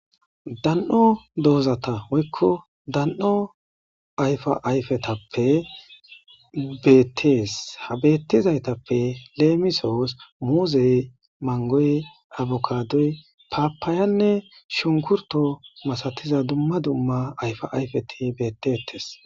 Dan'o doozati woyko dan'o ayfa ayfetappe beetes. Ha beetizaytappe lemisos muuzey, mangoy, abukadoy, papayann3 shunkurto masatiza duma duma ayfa ayfeti beetetes.